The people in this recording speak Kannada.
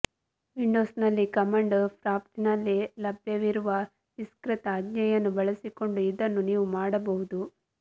ವಿಂಡೋಸ್ನಲ್ಲಿ ಕಮಾಂಡ್ ಪ್ರಾಂಪ್ಟಿನಲ್ಲಿ ಲಭ್ಯವಿರುವ ವಿಸ್ತೃತ ಆಜ್ಞೆಯನ್ನು ಬಳಸಿಕೊಂಡು ಇದನ್ನು ನೀವು ಮಾಡಬಹುದು